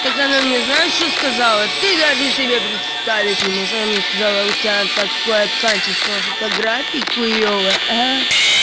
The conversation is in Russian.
так она мне знаешь что сказала ты даже себе представить не можешь она мне сказала у тебя такое качество фотографий хуевое